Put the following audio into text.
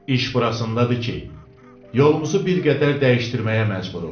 İş burasındadır ki, yolumuzu bir qədər dəyişdirməyə məcburuq.